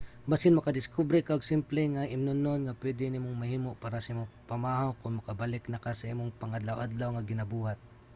basin makadiskubre ka og simple nga imnonon nga pwede nimong mahimo para sa imong pamahaw kon makabalik na ka sa imong pang-adlaw-adlaw nga ginabuhat